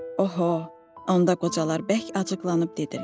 Oho, onda qocalar bərk acıqlanıb dedilər.